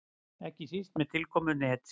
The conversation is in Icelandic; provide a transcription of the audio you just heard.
Ekki síst með tilkomu netsins.